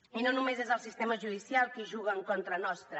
i no només és el sistema judicial qui juga en contra nostra